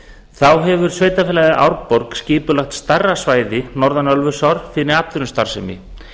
þá hefur sveitarfélagið árborg skipulagt stærra svæði norðan ölfusár fyrir atvinnustarfsemi